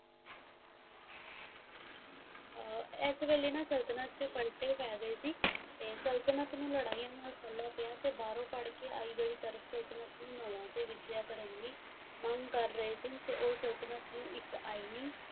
ਇਸ ਵੇਲੇ ਸੰਤਤਲਣ ਫਟੇ ਪਏ ਗਏ ਸੀ ਸੰਤਤਲਣ ਨੂੰ ਲੜਾਈਆਂ ਨਾਲ ਪਿਆ ਬਾਰੋ ਫੜਕ ਆਈ ਸੰਤਤਲਣ ਨਵਾਂ ਵਿਸ਼ਿਆਂ ਪਰਦੀ ਮੰਗ ਕਰ ਰਹੀਏ ਸੀ ਉਹ ਸੰਤਤਲਣ ਇਕ ਆਨੀ